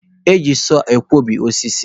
Eji sọọ akwọbi osisi.